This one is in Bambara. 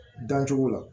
Dancogo la